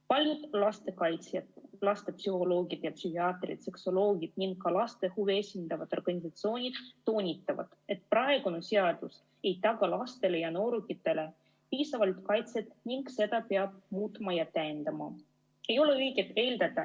Paljud lastekaitsjad, lastepsühholoogid ja -psühhiaatrid, seksuoloogid ning ka laste huve esindavad organisatsioonid toonitavad, et praegune seadus ei taga lastele ja noorukitele piisavalt kaitset ning seda peab muutma ja täiendama.